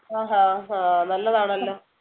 ആഹ് ഹാ നല്ലതാണല്ലോ